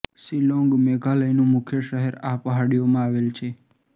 શિલોંગ મેઘાલયનું મુખ્ય શહેર આ પહાડીઓમાં આવેલ છે